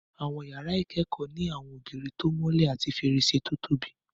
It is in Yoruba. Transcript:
Àwọn iyàrá ìkẹ́kọ̀ọ́ ní àwọn ògiri tó mọ́lẹ̀ àti fèrèsé tó tóbi